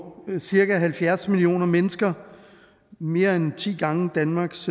cirka halvfjerds millioner mennesker mere end ti gange danmarks